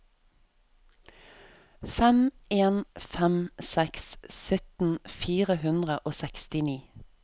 fem en fem seks sytten fire hundre og sekstini